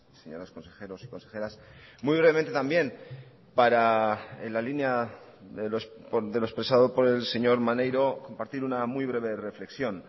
señores consejeros y consejeras muy brevemente también para en la línea de lo expresado por el señor maneiro compartir una muy breve reflexión